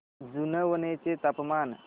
जुनवणे चे तापमान